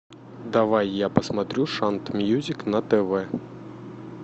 давай я посмотрю шант мьюзик на тв